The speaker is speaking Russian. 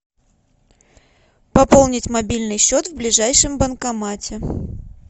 пополнить мобильный счет в ближайшем банкомате